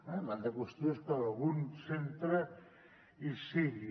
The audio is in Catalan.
l’altra qüestió és que en algun centre hi sigui